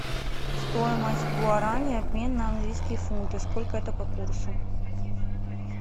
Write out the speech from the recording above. стоимость гуарани обмен на английские фунты сколько это по курсу